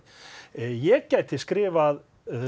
ég gæti skrifað